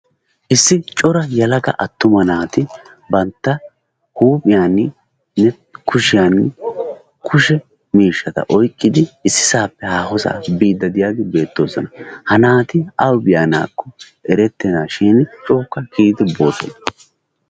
issi cora yelaga attuma naati banta huuphiyani kushiyani kushe miishata oyqqidi issisaappe haahosaa biidi beetoosona. ha naati awu biyoona eretenaba gidikkokka biidi beetoosona.